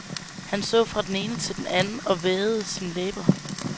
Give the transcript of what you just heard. Han så fra den ene til den anden og vædede sine læber.